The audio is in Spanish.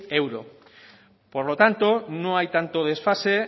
euro por lo tanto no hay tanto desfase